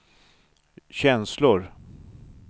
känslor